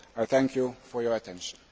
Thank you for your attention.